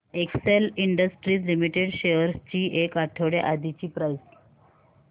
Excel industries limited shares ची एक आठवड्या आधीची प्राइस